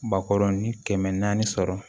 Bakɔrɔnin kɛmɛ naani sɔrɔ